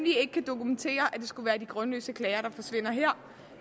dokumentere at det skulle være de grundløse klager der forsvinder her